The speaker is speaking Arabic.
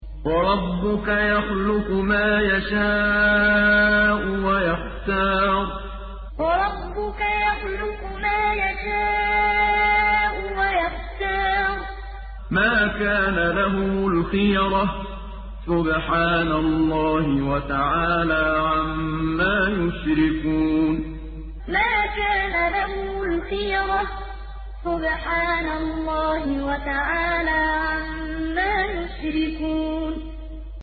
وَرَبُّكَ يَخْلُقُ مَا يَشَاءُ وَيَخْتَارُ ۗ مَا كَانَ لَهُمُ الْخِيَرَةُ ۚ سُبْحَانَ اللَّهِ وَتَعَالَىٰ عَمَّا يُشْرِكُونَ وَرَبُّكَ يَخْلُقُ مَا يَشَاءُ وَيَخْتَارُ ۗ مَا كَانَ لَهُمُ الْخِيَرَةُ ۚ سُبْحَانَ اللَّهِ وَتَعَالَىٰ عَمَّا يُشْرِكُونَ